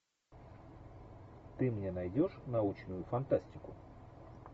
ты мне найдешь научную фантастику